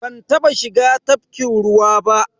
Ban taba shiga tafkin ruwa ba.